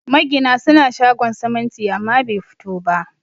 Magina suna shogon siminti amma bai fito ba